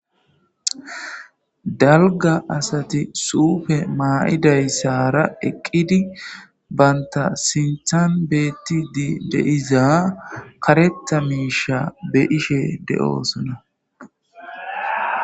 dalga asati suufe maa7idayssara eqqidi banta sinthan beetti di deiza karetta miisha be ishe de7oosona